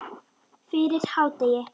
Fyrir hádegi.